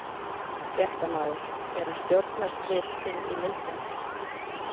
Fréttamaður: Eru stjórnarslit inn í myndinni?